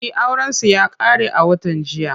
E, aurensu ya ƙare a watan jiya.